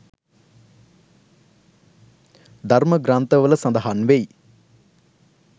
ධර්ම ග්‍රන්ථවල සඳහන් වෙයි.